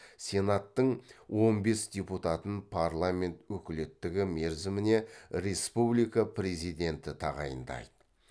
сенаттың он бес депутатын парламент өкілеттігі мерзіміне республика президенті тағайындайды